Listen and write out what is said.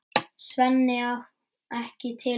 Svenni á ekki til orð.